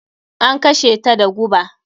An kashe ta da guba.